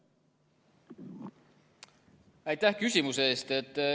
Aitäh küsimuse eest!